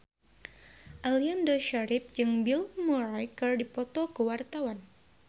Aliando Syarif jeung Bill Murray keur dipoto ku wartawan